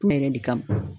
Yɛrɛ de kama